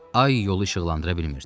Ay yolu işıqlandıra bilmirdi.